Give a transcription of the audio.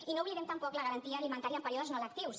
i no oblidem tampoc la garantia alimentària en períodes no lectius